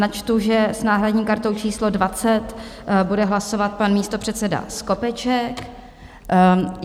Načtu, že s náhradní kartou číslo 20 bude hlasovat pan místopředseda Skopeček.